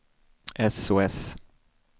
sos